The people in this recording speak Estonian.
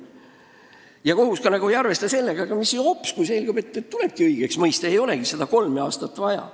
Ja kohus ei arvesta ka sellega, kui hopsti selgub, et inimene tuleb õigeks mõista ja ei olegi seda kolme aastat vaja.